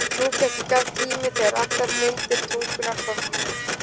Nú gekk í garð tími þegar allar lindir tungunnar þornuðu upp.